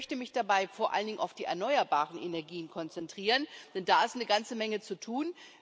Ich möchte mich dabei vor allen Dingen auf die erneuerbaren Energien konzentrieren, denn da ist eine ganze Menge zu tun.